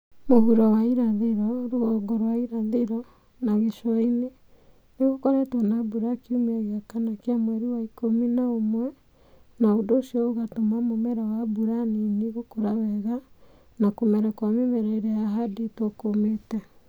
mũhuro kia mũhũro wa irathĩro, rũgongo rwa irathĩro na gĩcũainĩ nĩ ũkoretwo na mbura kiumia gĩa kana kĩa mweri wa ikumi na ũmwe, na ũndũ ũcio no ũtũme mũmera wa mbura nini gũkũra wega na kũmera kwa mĩmera ĩrĩa yahandirwo kũmĩte.